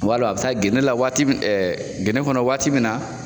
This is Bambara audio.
U b'a lɔn a bɛ taa gene la waati min gene kɔnɔ waati min na.